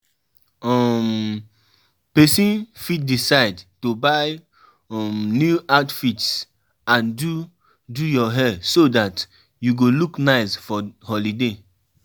Na woman dem suppose dey house um dey take care of pikin dem.